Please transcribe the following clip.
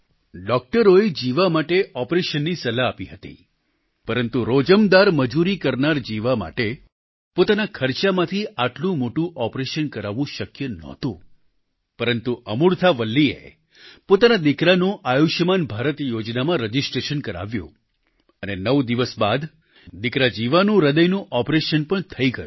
ડોક્ટરોએ જીવા માટે ઓપરેશનની સલાહ આપી હતી પરંતુ રોજમદાર મજૂરી કરનારા જીવા માટે પોતાના ખર્ચાથી આટલું મોટું ઓપરેશન કરાવવું શક્ય નહોતું પરંતુ અમૂર્થા વલ્લીએ પોતાના દિકરાનું આયુષ્યમાન ભારત યોજનામાં રજિસ્ટ્રેશન કરાવ્યું અને 9 દિવસ બાદ દિકરા જીવાના હાર્ટની સર્જરી પણ થઈ ગઈ